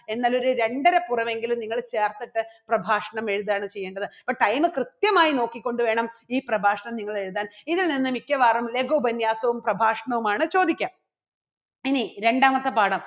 എന്നാൽ ഒരു രണ്ടര പുറമെങ്കിലും നിങ്ങള് ചേർത്തിട്ട് പ്രഭാഷണം എഴുതുകയാണ് ചെയ്യേണ്ടത്. അപ്പോ time കൃത്യമായി നോക്കി കൊണ്ടുവേണം ഈ പ്രഭാഷണം നിങ്ങൾ എഴുതാൻ ഇതിൽ നിന്ന് മിക്കവാറും ലഘു ഉപന്യാസവും പ്രഭാഷണവും ആണ് ചോദിക്കുക. ഇനി രണ്ടാമത്തെ പാഠം